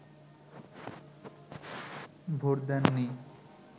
vote দেননি